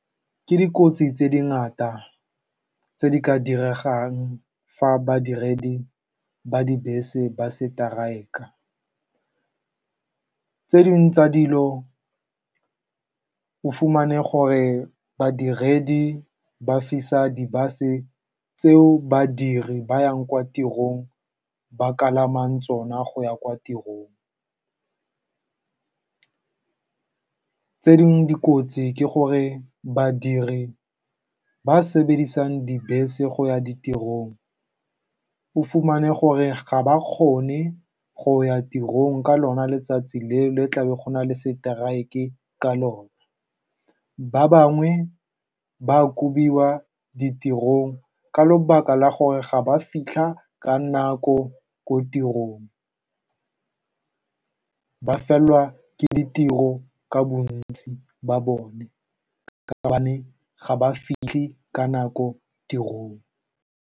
Ke dikotsi tse di ngata, tse di ka diregang fa badiredi ba dibese ba seteraeka. Tse dingwe tsa dilo o fumane, gore badiredi ba fisa di-bus-e tseo badiri ba yang kwa tirong ba ka palamang tsona go ya kwa tirong. Tse dingwe dikotsi ke gore, badiri ba ba sebedisang dibese go ya ditirong o fumane gore ga ba kgone go ya tirong ka lona letsatsi leo fa go na le strike ka lone. Ba bangwe ba kobiwa ditirong ka lebaka la gore ga ba fitlha ka nako ko tirong, mme ba felelwa ke ditiro ka bontsi ba bone ka gobane ga ba fitlhi ka nako kwa tirong.